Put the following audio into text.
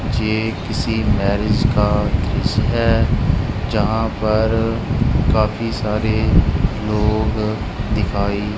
जे किसी मैरिज का दृश्य है। जहां पर काफी सारे लोग दिखाई--